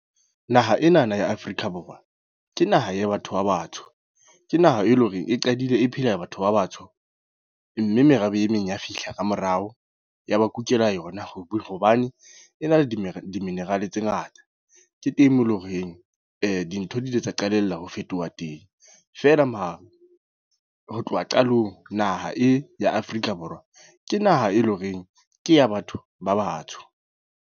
Naha enana ya Afrika Borwa ke naha ya batho ba batsho. Ke naha e leng hore e qadile e phela ya batho ba batsho. Mme merabe e meng ya fihla ka morao. Ya ba kukela yona. Hobane, e na le di-mineral tse ngata. Ke teng moo eleng horeng, dintho di ile tsa qalella ho fetoha teng. Feela mara ho tloha qalong naha e ya Afrika Borwa, ke naha e leng horeng ke ya batho ba batsho.